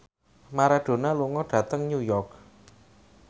Maradona lunga dhateng New York